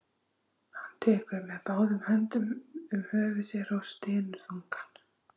Hann tekur með báðum höndum um höfuð sér og stynur þungan.